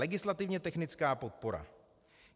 Legislativně technické podpora .